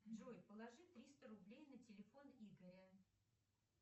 джой положи триста рублей на телефон игоря